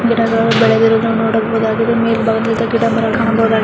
ಇಲ್ಲಿ ಚಿಕ್ಕ ಪೂತ ವಾದ ಗಿಡಗಳು ಬೆಳೆದಿರುವುದಾನ್ನ ನೋಡಬಹುದಾಗಿದೆ ಮೇಲ್ಬಾಗದಲ್ಲಿ ಮರಗಳು ಸಹ ಕಾಣಬಹುದ್ದಾಗಿದೆ.